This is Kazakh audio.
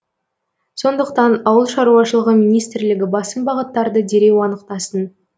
сондықтан ауыл шаруашылығы министрлігі басым бағыттарды дереу анықтасын